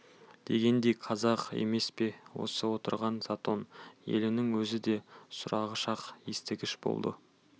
дегендей қазақ емес пе осы отырған затон елінің өзі де сұрағыш-ақ естігіш болады